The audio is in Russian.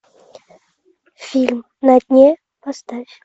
фильм на дне поставь